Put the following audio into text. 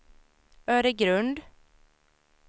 Öregrund